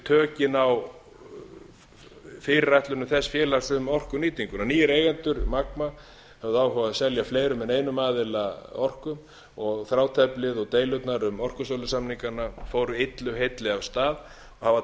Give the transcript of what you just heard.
tökin á fyrirætlunum þess félags um orkunýtinguna nýir eigendur magma höfðu áhuga á að selja fleirum en einum aðila orku og þráteflið og deilurnar um orkusölusamningana fóru illu heilli af stað og hafa